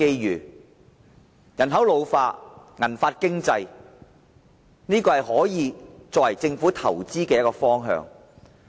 隨着人口老化，銀髮經濟可以成為政府投資的一個方向。